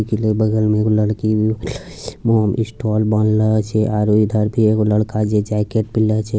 इकले बगल में एगो लड़की भी स्टोल बाँधलो छे आरो इधर भी एगो लड़का जे जेकेट पिहनलो छे।